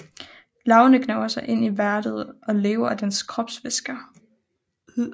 Larverne gnaver sig ind i værten og lever af dens kropsvæsker